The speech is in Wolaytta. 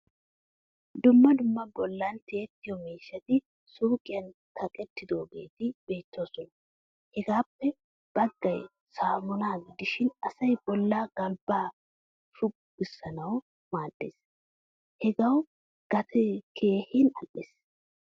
Dumma dumma bollan tiyettiyo miishshati suuqiyan kaqqidogetti beettoosona. Hagaappe baggay saamuna gidishin asay bolla galbba shugisanawu maaddees. Hagaawu gatee keehin al'ees.